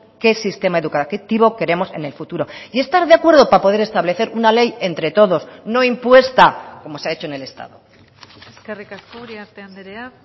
qué sistema educativo queremos en el futuro y estar de acuerdo para poder establecer una ley entre todos no impuesta como se ha hecho en el estado eskerrik asko uriarte andrea